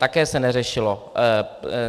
Také se neřešilo.